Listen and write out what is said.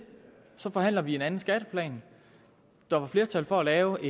så forhandler vi en anden skatteplan der var flertal for at lave